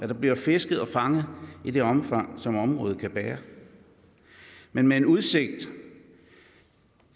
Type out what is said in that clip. der bliver fisket og fanget i det omfang som området kan bære men med udsigt